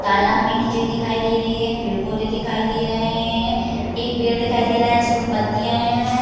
तालाब में कीचई दिखाई दे रही है पेड़-पौधे दिखाई दे रहे हैं। एक पेड़ दिखाई दे रहा हैं जिसमें पत्तियां हैं।